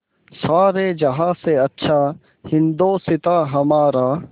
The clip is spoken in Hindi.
सारे जहाँ से अच्छा हिन्दोसिताँ हमारा